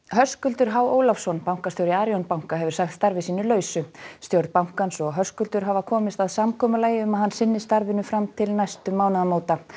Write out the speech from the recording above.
Höskuldur h Ólafsson bankastjóri Arion banka hefur sagt starfi sínu lausu VO stjórn bankans og Höskuldur hafa komist að samkomulagi um að hann sinni starfinu fram til næstu mánaðamóta